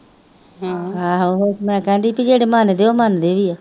ਆਹੋ ਫੇਰ ਮੈਂ ਕਹਿੰਦੀ ਸੀ ਜਿਹੜੇ ਮੰਨਦੇ ਹੈ ਉਹ ਮੰਨਦੇ ਵੀ ਹੈ